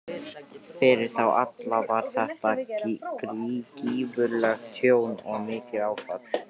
Fyrir þá alla var þetta gífurlegt tjón og mikið áfall.